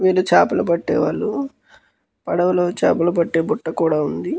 వీళ్లు చేపలు పట్టే వాళ్ళు. పడవలో చేపలు పట్టే బుట్ట కూడా ఉంది.